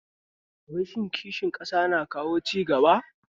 Wai shin kishin ƙasa na kawo cigaba kuwa?